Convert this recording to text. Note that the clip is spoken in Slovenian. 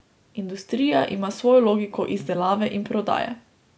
Industrija ima svojo logiko izdelave in prodaje.